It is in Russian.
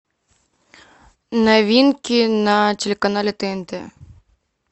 новинки на телеканале тнт